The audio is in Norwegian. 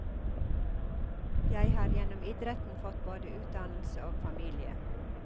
Jeg har gjennom idretten fått både utdannelse og familie.